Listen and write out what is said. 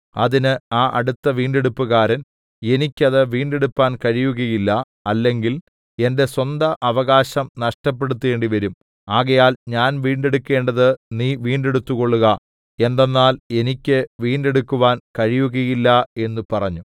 അതിന് ആ അടുത്ത വീണ്ടെടുപ്പുകാരൻ എനിക്ക് അത് വീണ്ടെടുപ്പാൻ കഴിയുകയില്ല അല്ലെങ്കിൽ എന്റെ സ്വന്ത അവകാശം നഷ്ടപ്പെടുത്തേണ്ടിവരും ആകയാൽ ഞാൻ വീണ്ടെടുക്കേണ്ടത് നീ വീണ്ടെടുത്തുകൊള്ളുക എന്തെന്നാൽ എനിക്ക് വീണ്ടെടുക്കുവാൻ കഴിയുകയില്ല എന്നു പറഞ്ഞു